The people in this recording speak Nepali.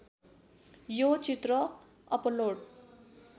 यो चित्र अपलोड